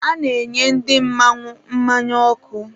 A na-enye ndị mmanwụ mmanya ọkụ.